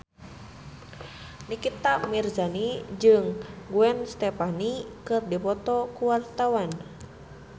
Nikita Mirzani jeung Gwen Stefani keur dipoto ku wartawan